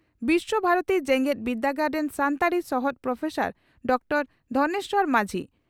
ᱵᱤᱥᱥᱚ ᱵᱷᱟᱨᱚᱛᱤ ᱡᱮᱜᱮᱛ ᱵᱤᱨᱫᱟᱹᱜᱟᱲ ᱨᱤᱱ ᱥᱟᱱᱛᱟᱲᱤ ᱥᱚᱦᱚᱫ ᱯᱨᱚᱯᱷᱮᱥᱟᱨ ᱰᱨᱹ ᱫᱷᱚᱱᱮᱥᱚᱨ ᱢᱟᱹᱡᱷᱤ